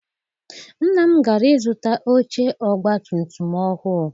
Nna m gara ịzụta oche ọgbatumtum ọhụụ.